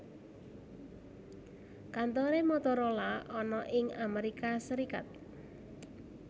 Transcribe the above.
Kantore Motorola ana ing Amerika Serikat